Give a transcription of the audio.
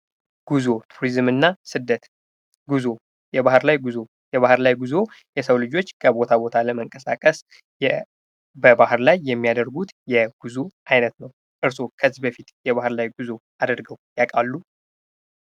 ጉዞ ፣ ቱሪዝምና ስደት፦ ጉዞ ፦ የባህር ላይ ጉዞ ፦ የባህር ላይ ጉዞ የሰው ልጆች ከቦታ ቦታ ለመንቀሳቀስ በባህር ላይ የሚያደርጉት የጉዞ አይነት ነው ። እርስዎ ከዚህ በፊት የባህር ላይ ጉዞ አድርገው ያውቃሉ ?